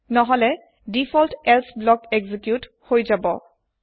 নহলে default else block executed হৈ যাব